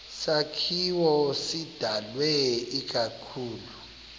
sakhiwo sidalwe ikakhulu